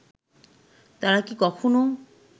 তারা কি কখনো